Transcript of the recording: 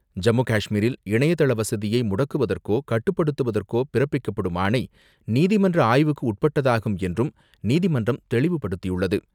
ஜம்முகாஷ்மீரில் இணையதள வசதியை முடக்குவதற்கோ, கட்டுப்படுத்துவதற்கோ பிறப்பிக்கப்படும் ஆணை நீதிமன்ற ஆய்வுக்கு உட்பட்டதாகும் என்றும் நீதிமன்றம் தெளிவுபடுத்தியுள்ளது.